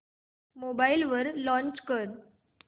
mobile वर launch कर